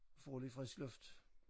Får lidt frisk luft